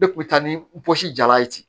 Ne kun bɛ taa ni n bɔsi jala ye ten